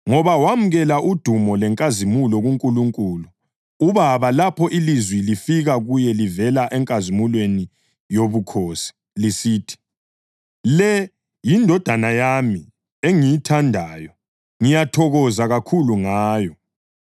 Ngoba wamukela udumo lenkazimulo kuNkulunkulu uBaba lapho ilizwi lifika kuye livela eNkazimulweni yoBukhosi, lisithi, “Le yiNdodana yami engiyithandayo; ngiyathokoza kakhulu ngayo.” + 1.17 UMatewu 17.5; UMakho 9.7; ULukha 9.35